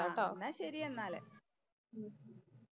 എന്നാ ശരി എന്നാല്. ഉം